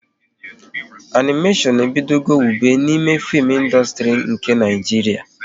Animéshon ebido go wube n'fim ịndustri nke Naijiria